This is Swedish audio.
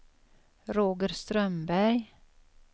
Roger Strömberg